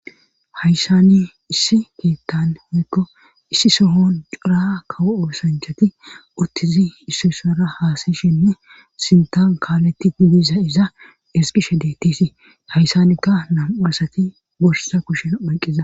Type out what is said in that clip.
Hayssani issi kiittan oykko issi sohon cura kawo osanchati uttizi issusara haasayshinneintan kaaletti dibiza iza esqishe deettisii hayssanikka nam7uasati borsa kushen ayqiza